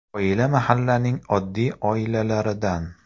Oila mahallaning oddiy oilalaridan.